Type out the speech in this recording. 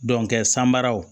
san baraw